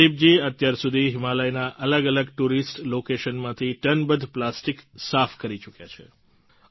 પ્રદિપજી અત્યારસુધી હિમાલયના અલગ અલગ ટુરિસ્ટ લોકેશનમાંથી ટનબંધ પ્લાસ્ટિક સાફ કરી ચૂક્યા છે